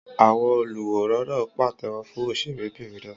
Àwọn oluwòran náà pàtẹ́wọ́ fún òṣèré bìnrin náà